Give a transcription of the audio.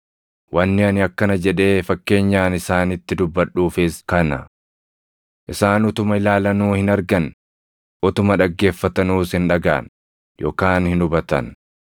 Wanni ani akkana jedhee fakkeenyaan isaanitti dubbadhuufis kana: “Isaan utuma ilaalanuu hin argan; utuma dhaggeeffatanuus hin dhagaʼan yookaan hin hubatan.